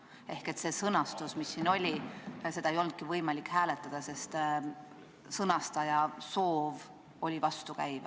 Sellises sõnastuses ettepanekut, nagu siin kirjas on, ei olnudki võimalik hääletada, sest ettepaneku tegija soov oli vastukäiv.